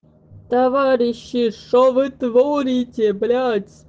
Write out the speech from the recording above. товарищи что вы творите блять